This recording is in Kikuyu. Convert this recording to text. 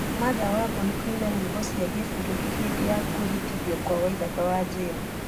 martha wambui kũina nyĩmbo cia gĩbũrũri hĩndĩ ya kwĩhĩtithio kwa waithaka wa jane